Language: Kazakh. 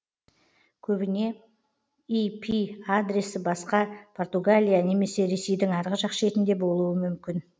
көбіне ір адресі басқа португалия немесе ресейдің арғы жақ шетінде болуы мүмкін